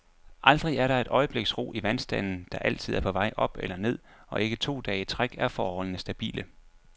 Aldrig er der et øjebliks ro i vandstanden, der altid er på vej op eller ned, og ikke to dage i træk er forholdene stabile.